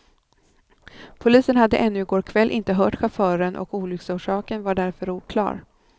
Polisen hade ännu i går kväll inte hört chauffören och olycksorsaken var därför oklar.